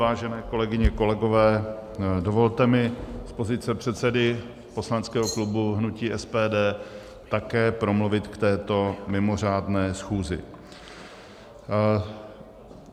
Vážené kolegyně, kolegové, dovolte mi z pozice předsedy poslaneckého klubu hnutí SPD také promluvit k této mimořádné schůzi.